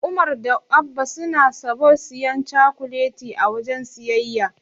Umar da Abba suna sobln siyan cakuleti a wajen siyayya.